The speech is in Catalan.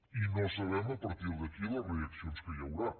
i no sabem a partir d’aquí les reaccions que hi haurà